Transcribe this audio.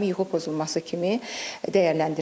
Daimi yuxu pozulması kimi dəyərləndirilmir.